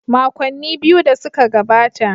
Makonni biyu da suka gabata.